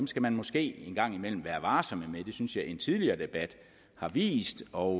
skal man måske en gang imellem være varsom med det synes jeg en tidligere debat har vist og